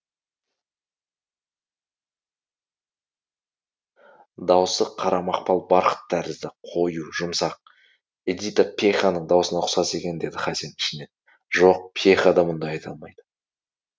даусы қара мақпал барқыт тәрізді қою жұмсақ эдита пьеханың даусына ұқсас екен деді хасен ішінен жоқ пьеха да мұндай айта алмайды